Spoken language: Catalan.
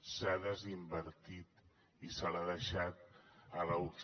s’ha desinvertit i se l’ha deixat a la uci